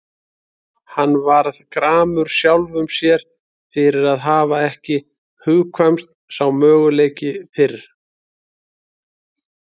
Hann varð gramur sjálfum sér fyrir að hafa ekki hugkvæmst sá möguleiki fyrr.